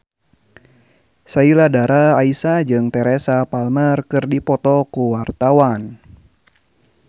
Sheila Dara Aisha jeung Teresa Palmer keur dipoto ku wartawan